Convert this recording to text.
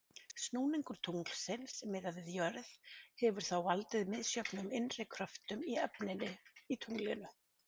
Snúningur tunglsins miðað við jörð hefur þá valdið misjöfnum innri kröftum í efninu í tunglinu.